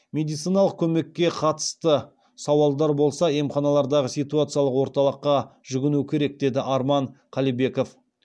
медициналық көмекке қатысты сауалдар болса емханалардағы ситуациялық орталыққа жүгіну керек деді арман қалибеков